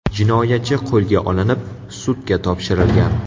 Jinoyatchi qo‘lga olinib, sudga topshirilgan.